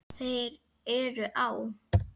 Þeir eru á